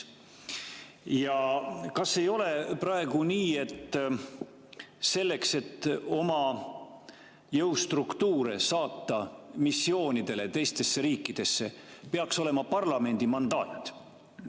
Kas ei ole praegu nii, et selleks, et oma jõustruktuure saata missioonidele teistesse riikidesse, peaks olema parlamendi mandaat?